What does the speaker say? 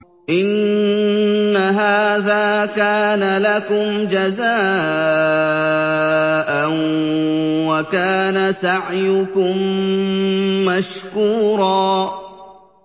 إِنَّ هَٰذَا كَانَ لَكُمْ جَزَاءً وَكَانَ سَعْيُكُم مَّشْكُورًا